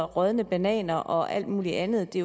rådne bananer og alt muligt andet det